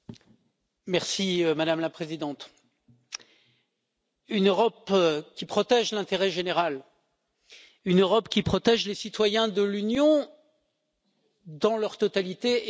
Madame la Présidente, une Europe qui protège l'intérêt général, une Europe qui protège les citoyens de l'Union dans leur totalité est parfaitement possible.